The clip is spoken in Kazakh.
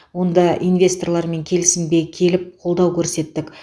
онда инвесторлармен келісімге келіп қолдау көрсеттік